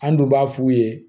An dun b'a f'u ye